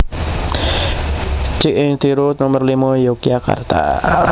Cik Ing Tiro Nomer limo Yogyakarta